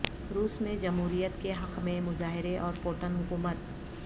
روس میں جہوریت کے حق میں مظاہرے اور پوٹن حکومت